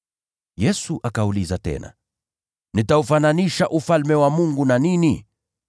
Yesu akauliza tena, “Nitaufananisha Ufalme wa Mungu na nini?